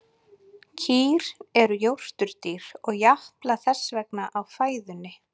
Kýr eru jórturdýr og japla þess vegna á fæðunni.